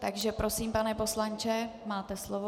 Takže prosím, pane poslanče, máte slovo.